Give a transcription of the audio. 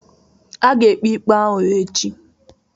A ga-ekpe ikpe ahụ echi.